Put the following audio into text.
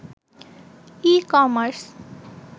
e-commerce